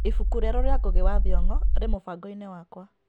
Ibuku rĩero rĩa Ngũgĩ wa Thũngo rĩ mũbango-inĩ wakwa .